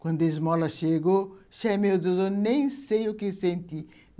Quando a esmola chegou, sei, meu Deus, eu nem sei o que senti.